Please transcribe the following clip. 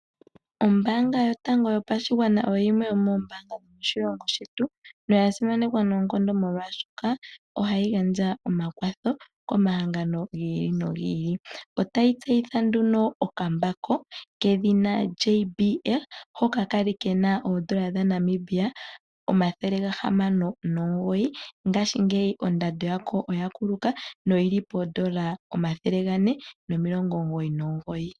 Ombanga yotango yopashigwana oyo yimwe yomombaanga yomoshilongo shetu, noya simanekwa noonkondo molwashoka oha yi gandja omakwatho komahangano giili nogiili. Ota yi tseyitha nduno okambako kedhina JBL hoka ka li nkena oondola dhaNamibia omathele gahamano nomugoyi ngashingeyi ondando ya ko oya kuluka noyi li poondola omathele gane nomilongo omugoyi nomugoyi.